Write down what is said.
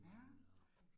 Ja